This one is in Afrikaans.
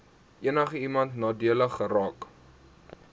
enigiemand nadelig geraak